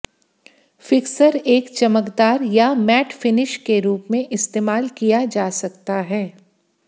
fixer एक चमकदार या मैट फिनिश के रूप में इस्तेमाल किया जा सकता